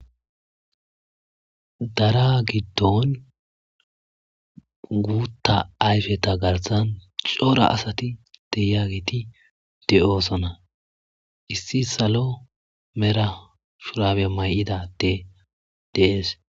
Daraa giddon guuththa ayfetha garssan cora asathi de7iyaageethi de7oosona; issi salo mera shuraabiya may7ida addee de7ees.